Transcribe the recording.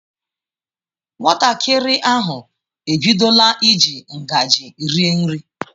Nwatakịrị ahu ebidola iji ngaji rie nri.